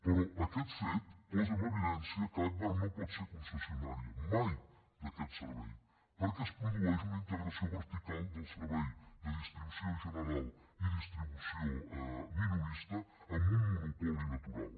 però aquest fet posa en evidència que agbar no pot ser concessionària mai d’aquest servei perquè es produeix una integració vertical del servei de distribució general i distribució minorista en un monopoli natural